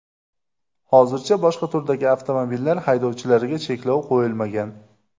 Hozircha boshqa turdagi avtomobillar haydovchilariga cheklov qo‘yilmagan.